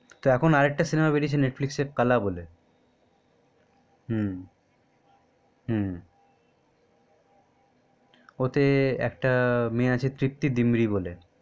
তো এখন আর একটা সিনেমা বেরিয়েছে netflix এ কালা বলে হম হম ওতে একটা মেয়ে আছে তৃপ্তি ডিম্রি বলে